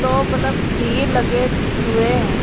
दो बल्ब भी लगे हुए हैं।